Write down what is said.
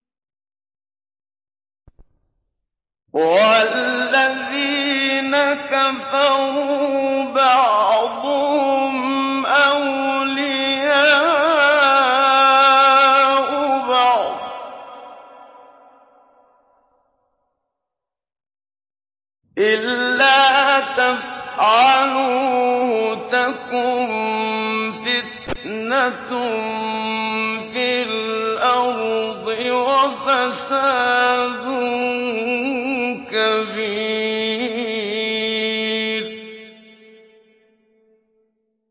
وَالَّذِينَ كَفَرُوا بَعْضُهُمْ أَوْلِيَاءُ بَعْضٍ ۚ إِلَّا تَفْعَلُوهُ تَكُن فِتْنَةٌ فِي الْأَرْضِ وَفَسَادٌ كَبِيرٌ